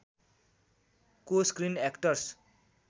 को screen actors